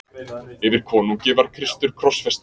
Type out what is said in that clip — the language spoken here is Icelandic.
Yfir konungi var Kristur krossfestur.